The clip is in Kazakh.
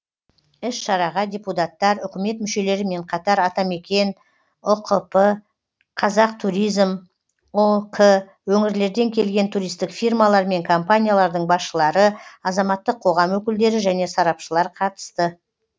іс шараға депутаттар үкімет мүшелерімен қатар атамекен ұқп қазақтуризм ұк өңірлерінден келген туристік фирмалар мен компаниялардың басшылары азаматтық қоғам өкілдері және сарапшылар қатысты